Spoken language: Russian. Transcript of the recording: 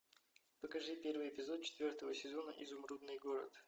покажи первый эпизод четвертого сезона изумрудный город